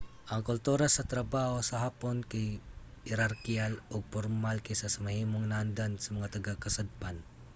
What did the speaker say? ang kultura sa trabaho sa hapon kay mas herarkiyal ug pormal kaysa sa mahimong naandan sa mga taga-kasadpan